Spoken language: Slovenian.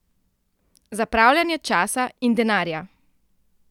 Zapravljanje časa in denarja!